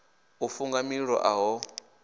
u funga mililo a ho